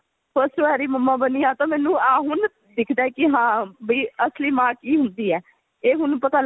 first ਵਾਰੀ mamma ਬਣੀ ਹਾਂ ਤਾਂ ਆਹ ਹੁਣ ਦਿੱਖਦਾ ਹੈ ਕੀ ਹਾਂ ਵੀ ਅਸਲੀ ਮਾਂ ਕੀ ਹੁੰਦੀ ਹੈ ਇਹ ਹੁਣ ਪਤਾ